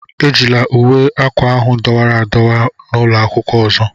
Ejila uwe akwa ahụ dọwara adọwa n'ụlọ akwụkwọ ọzọ!